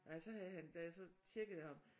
Nej så havde han da jeg så tjekkede ham